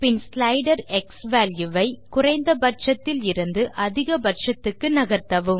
பின் slider x value வை குறைந்த பட்சத்தில் இருந்து அதிக பட்சத்துக்கு நகர்த்தவும்